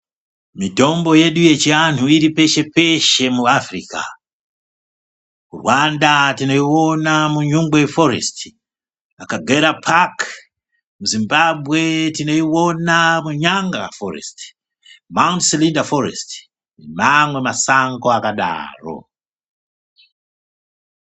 Mitombo yedu yechiantu iripeshe peshe muAfrica Rwanda tonoiwone muNyungwe foresiti Acagera park muZimbabwe tinoiona muNyanga foresiti Mount Selinda foresiti nemamwe masango akadaro .